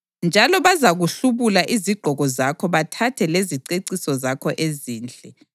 Njalo bazakuhlubula izigqoko zakho bathathe leziceciso zakho ezinhle.